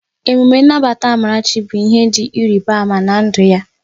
Emume Nnabata Amarachi bụ ihe dị ịrịba ama na ndụ ya